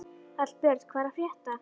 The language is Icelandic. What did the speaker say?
Hallbjörn, hvað er að frétta?